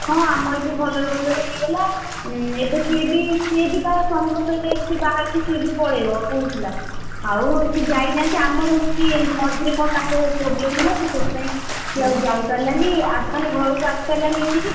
ହଁ ଆମର ବି ଭଲରେ ଭଲରେ ହେଇଗଲା! ଏବେ ସିଏ ବି ସିଏବି ତା ସ୍ୱାମୀଙ୍କ ସହିତ ଏମିତି ବାହାରକୁ ସିଏ ବି ପଳେଇବ କହୁଥିଲା, ଆଉ ସେ ଯାଇନାହାନ୍ତି ଆମର ହଉଛିବି ମଝିରେ କଣ ତାଙ୍କର problem ହେଲା ସେ ସେଥିପାଇଁ, ସେ ଆଉ ଯାଇ ପାରିଲାନି ମାନେ ଘରକୁ ଆସିପାରିଲାନି ଏଠିକି।